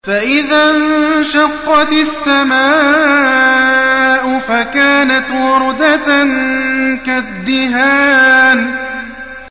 فَإِذَا انشَقَّتِ السَّمَاءُ فَكَانَتْ وَرْدَةً كَالدِّهَانِ